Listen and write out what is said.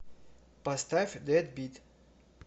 поставь дэдбит